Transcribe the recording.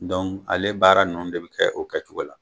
ale baara ninnu de bɛ kɛ o kɛcogo la.